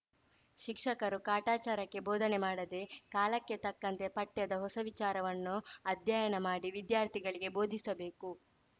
ಶಿಕ್ಷಕರೂ ಕಾಟಾಚಾರಕ್ಕೆ ಬೋಧನೆ ಮಾಡದೇ ಕಾಲಕ್ಕೆ ತಕ್ಕಂತೆ ಪಠ್ಯದ ಹೊಸ ವಿಚಾರವನ್ನು ಅಧ್ಯಯನ ಮಾಡಿ ವಿದ್ಯಾರ್ಥಿಗಳಿಗೆ ಬೋಧಿಸಬೇಕು